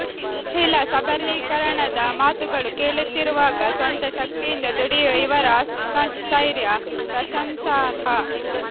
ಮಹಿಳಾ ಸಬಲೀಕರಣದ ಮಾತುಗಳು ಕೇಳುತ್ತಿರುವಾಗ ಸ್ವಂತಶಕ್ತಿಯಿಂದ ದುಡಿಯುವ ಇವರ ಆತ್ಮಸ್ಥೈರ್ಯ ಪ್ರಶಂಸಾರ್ಹ